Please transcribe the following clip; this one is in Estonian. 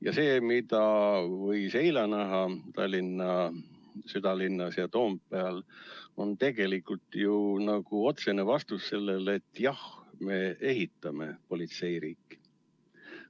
Ja see, mida võis eile näha Tallinna südalinnas ja Toompeal, on tegelikult otsene vastus: "Jah, me ehitame politseiriiki.